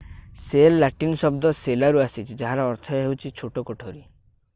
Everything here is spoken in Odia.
ସେଲ୍ ଲାଟିନ୍ ଶବ୍ଦ ସେଲାରୁ ଆସିଛି ଯାହାର ଅର୍ଥ ହେଉଛି ଛୋଟ କୋଠରୀ